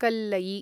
कल्लयि